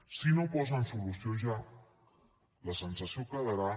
si no hi posen solució ja la sensació quedarà